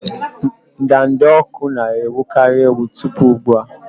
ndanda ọkụ na-ewukarị ewu tupu ugbu a.